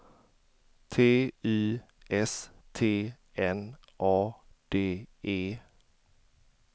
T Y S T N A D E